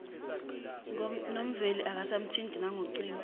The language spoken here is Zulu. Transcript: nomveli akasamthinti nangocingo